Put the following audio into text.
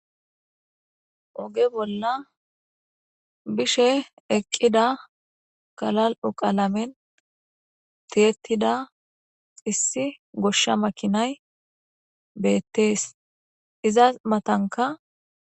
oge bolla bishe eqqida kalal7u qalamen teettida issi goshsha makinay beettees izas matanka